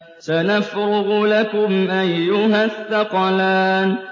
سَنَفْرُغُ لَكُمْ أَيُّهَ الثَّقَلَانِ